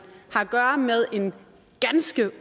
har at gøre med en ganske